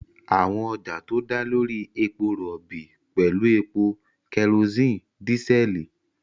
Àwọn ọjà tó dá lórí epo rọ̀bì pẹ̀lú epo, kerosene, dísẹ́ẹ̀lì.